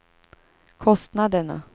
kostnaderna